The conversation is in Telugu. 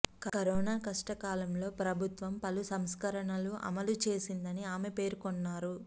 కరోనా కష్టకాలంలో ప్రభుత్వం పలు సంస్కరణలను అమలు చేసిందని ఆమె పేర్కొన్నారు